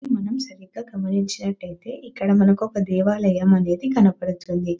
మనం సరిగ్గా గమనించినట్లయితే ఇక్కడ మనకొక దేవాలయం అనేది కనబడుతుంది.